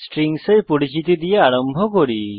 strings এর পরিচিতি দ্বারা আরম্ভ করি